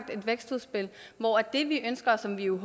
et vækstudspil hvor det vi ønsker og som vi jo i